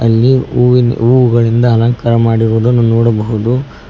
ಇಲ್ಲಿ ಹೂ ಹೂವಿಂದ ಅಲಂಕಾರ ಮಾಡಿರುವುದನ್ನು ನೋಡಬಹುದು.